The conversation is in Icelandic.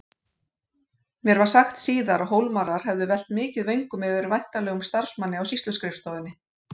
Mér var sagt síðar að Hólmarar hefðu velt mikið vöngum yfir væntanlegum starfsmanni á sýsluskrifstofunni.